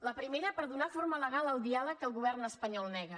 la primera per donar forma legal al diàleg que el govern espanyol nega